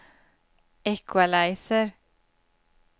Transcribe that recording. equalizer